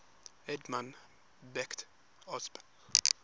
edmund beck osb